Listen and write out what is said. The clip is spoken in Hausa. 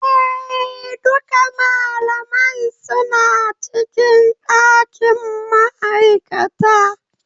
Eh, Duka malamai suna cikin dakin ma'aikata.